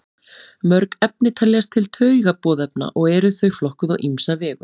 Mörg efni teljast til taugaboðefna og eru þau flokkuð á ýmsa vegu.